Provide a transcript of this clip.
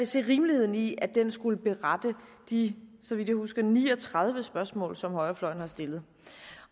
se rimeligheden i at den skulle berettige de så vidt jeg husker ni og tredive spørgsmål som højrefløjen har stillet